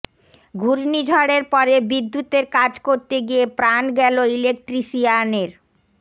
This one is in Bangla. ঘূর্ণিঝড়ের পরে বিদ্যুতের কাজ করতে গিয়ে প্রাণ গেল ইলেকট্রিশিয়ানের